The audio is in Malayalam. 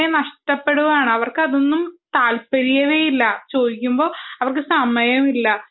ഒക്കെ നഷ്ടപ്പെടുകയാണ് അവർക്കും അതൊന്നും താല്പര്യമേ ഇല്ല ചോദിക്കുമ്പോൾ അവർക്ക് സമയമില്ല